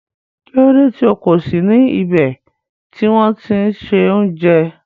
Kílódé tí o kò sí ní ibè tì wọn ti n ṣẹ ọ̀unjẹ?